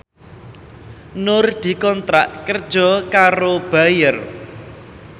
Nur dikontrak kerja karo Bayer